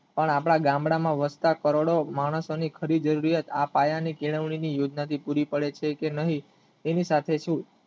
પણ આપણા ગામડામાં વધતા કરોડો માણસોની ખરી જેવિયત આ પાયા ની કેળવણીની યોજના ટીપુડી પડે છે કે નહિ તેની સાથે સુ